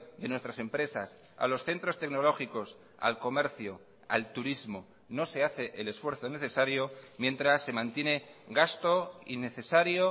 de nuestras empresas a los centros tecnológicos al comercio al turismo no se hace el esfuerzo necesario mientras se mantiene gasto innecesario